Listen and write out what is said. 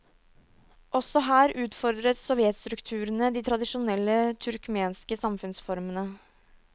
Også her utfordret sovjetstrukturene de tradisjonelle turkmenske samfunnsformene.